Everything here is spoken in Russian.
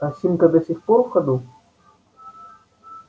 осинка до сих пор в ходу